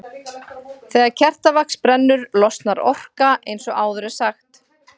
Þegar kertavax brennur losnar orka eins og áður er sagt.